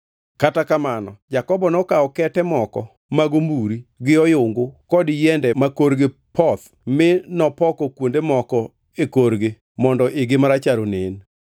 Kata kamano, Jakobo nokawo kete moko mag omburi, gi oyungu kod yiende makorgi poth mi nopoko kuonde moko e korgi mondo igi marachar onen.